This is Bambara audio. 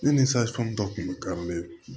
Ne ni dɔ tun bɛ